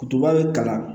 Duguba bɛ kalan